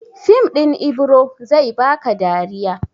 Fim ɗin Ibiro zai ba ka dariya.